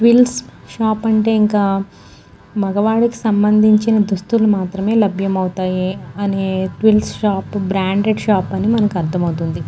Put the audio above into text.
Twills shop అంటే ఇంకా మఘవాలకి సంబంచిన దుస్తులు మాత్రమే లభ్యమవుతాయి అని ట్విల్స్ షాప్ బ్రాండెడ్ షాప్ అని మనకి అర్ధం అవుతుంది.